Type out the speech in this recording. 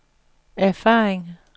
erfaring